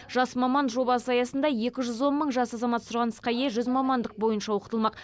жас маман жобасы аясында екі жүз он мың жас азамат сұранысқа ие жүз мамандық бойынша оқытылмақ